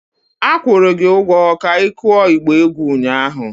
A kwụrụ gị ụgwọ ka ikuo ịgba egwu ụnyahụ!